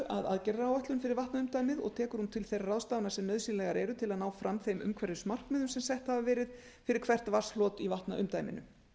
að aðgerðaráætlun fyrir vatnaumdæmið og tekur hún til þeirra ráðstafana sem nauðsynlegar eru til að ná fram þeim umhverfismarkmiðum sem sett hafa verið fyrir hvert vatnshlot í vatnaumdæminu